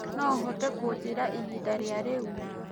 noũhote kunjĩĩraĩhĩnda rĩa riu